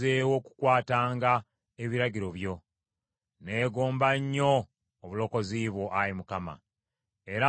Neegomba nnyo obulokozi bwo, Ayi Mukama , era amateeka go lye ssanyu lyange.